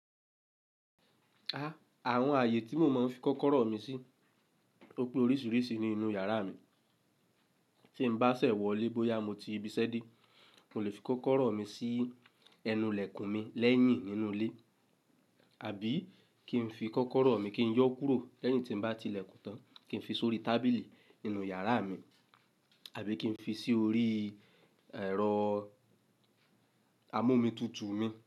Àwọn ààyè tí mo máa ń fi kọ́kọ́rọ́ mi sí, ó pé oríṣiríṣi nínú yàrá mi. Tí m bá ṣẹ̀ wọlé bóyá mo ti ibiṣẹ́ dé, mo lè fi kọ́kọ́rọ́ mi sí ẹnu ilẹ̀kùn mi lẹ́yìn nínú ilé, àbí kí n fi kọ́kọ́rọ́ mi kí n yọ́ kúrò lẹ́yìn tí n bá ti ìlẹ̀kùn tán, kí n fi sórí tábìlì nínú yàrá mi, àbí kí n fi sí orí ẹ̀rọ amómitutu mi.